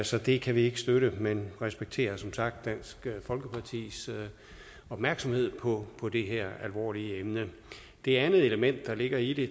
så det kan vi ikke støtte men vi respekterer som sagt dansk folkepartis opmærksomhed på på det her alvorlige emne det andet element der ligger i det